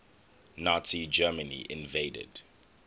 nazi germany invaded